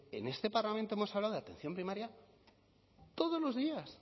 en este parlamento hemos hablado de atención primaria todos los días